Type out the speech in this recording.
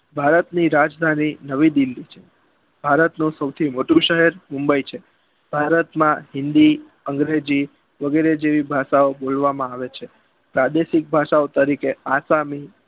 ભારતની રાજધાની નવી દિલ્લી છે ભારતનું સોથી મોટું શહેર mumbai છે ભારતમાં હિન્દી અંગ્રેજી વગેરે જેવી ભાષા ઓં બોલવામાં આવે છે પ્રાદેશિક ભાષાઓ તરીકે આસામ